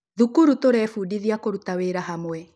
Thukuru tũraĩfundithĩa kũruta wĩra hamwe